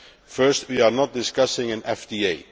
First, we are not discussing an FTA.